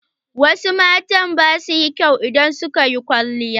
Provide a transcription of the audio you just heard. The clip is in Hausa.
Wasu mata ba su yin kyau idan sun yi kwalliya.